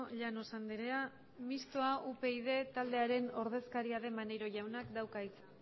llanos andrea mistoa upyd taldearen ordezkaria den maneiro jaunak dauka hitza